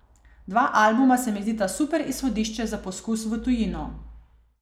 Dva albuma se mi zdita super izhodišče za poskus v tujino.